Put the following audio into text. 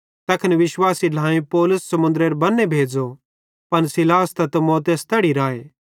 तैखन विश्वासी ढ्लाएईं पौलुस समुन्द्रेरे बन्ने भेज़ो पन सीलास त तीमुथियुस तैड़ी राए